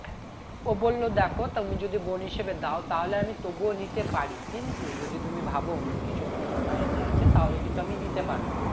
ও বললো দেখো তুমি যদি বোন হিসেবে দাও তাহলে আমি তবুও নিতে পারি কিন্তু যদি তুমি ভাব অন্য কিছু তোমার mind এ আছে তাহলে কিন্তু আমি নিতে পারবো না